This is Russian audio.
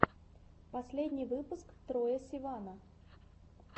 последний выпуск троя сивана